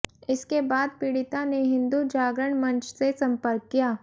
इसके बाद पीड़िता ने हिंदू जागरण मंच से संपर्क किया